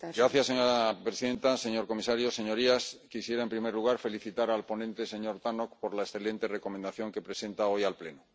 Señora presidenta, señor comisario, señorías, quisiera en primer lugar felicitar al ponente, señor Tannock, por la excelente Recomendación que presenta hoy al Pleno.